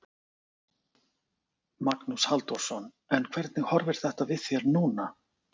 Magnús Halldórsson: En hvernig horfir þetta við þér núna?